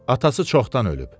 Atası çoxdan ölüb.